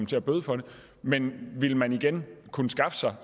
til at bøde for det men ville man igen kunne skaffe sig